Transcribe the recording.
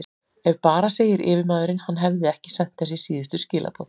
Ef bara segir yfirmaðurinn, hann hefði ekki sent þessi síðustu skilaboð.